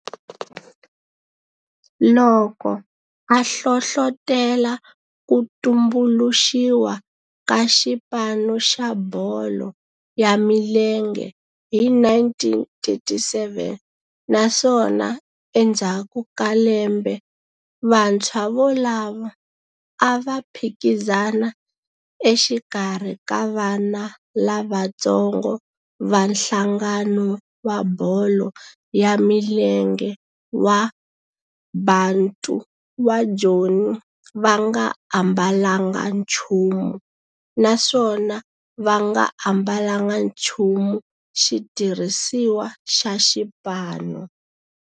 loko a hlohlotela ku tumbuluxiwa ka xipano xa bolo ya milenge hi 1937 naswona endzhaku ka lembe vantshwa volavo a va phikizana exikarhi ka vana lavatsongo va nhlangano wa bolo ya milenge wa Bantu wa Joni va nga ambalanga nchumu naswona va nga ambalanga nchumu xitirhisiwa xa xipano.